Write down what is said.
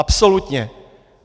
Absolutně!